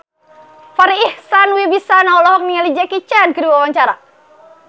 Farri Icksan Wibisana olohok ningali Jackie Chan keur diwawancara